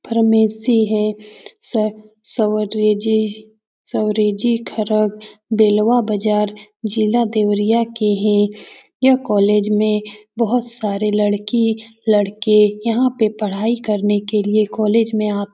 Pharmacy है। से-सवरेजी सवरेजी खरक देलवा बजार जिला देवरिया के है। यह कॉलेज में बोहोत सारे लड़की लड़के यहाँ पे पढाई करने के लिए कॉलेज में आत--